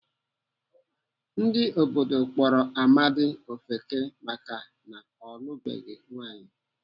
Ndị obodo kpọrọ Amadi ofeke maka na ọ lụbeghị nwaanyị.